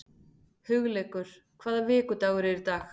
Hugleikur, hvaða vikudagur er í dag?